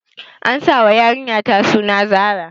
An sa wa yarinyata suna Zara